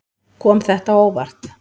Kom þetta á óvart.